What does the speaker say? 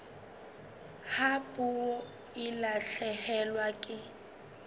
ha puo e lahlehelwa ke